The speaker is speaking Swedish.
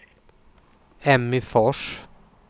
Emmy Fors